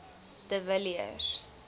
de villiers